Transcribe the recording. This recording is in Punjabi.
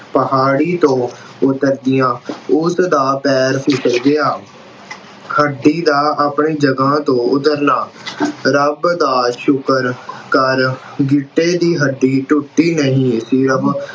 ਪਹਾੜੀ ਤੋਂ ਉੱਤਰਦਿਆਂ ਉਸਦਾ ਪੈਰ ਫਿਸਲ ਗਿਆ। ਹੱਡੀ ਦਾ ਆਪਣੀ ਜਗ੍ਹਾ ਤੋਂ ਉੱਤਰਨਾ ਰੱਬ ਦਾ ਸ਼ੁਕਰ ਅਹ ਕਰ ਗਿੱਟੇ ਦੀ ਹੱਡੀ ਟੁੱਟੀ ਨਹੀਂ।